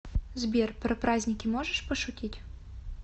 сбер про праздники можешь пошутить